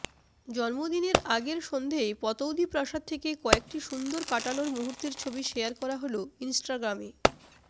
জন্মদিনের আগের সন্ধেয় পতৌদি প্রাসাদ থেকে কয়েকটি সুন্দর কাটানো মুহূর্তের ছবি শেয়ার করা হল ইন্সটাগ্রামে